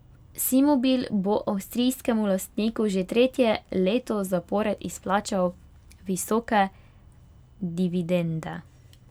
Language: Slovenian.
Simobil bo avstrijskemu lastniku že tretje leto zapored izplačal visoke dividende.